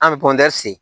An bɛ se